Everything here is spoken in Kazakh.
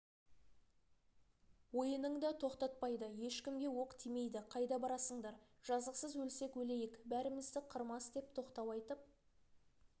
ойынын да тоқтатпайды ешкімге оқ тимейді қайда барасыңдар жазықсыз өлсек өлейік бәрімізді қырмас деп тоқтау айтып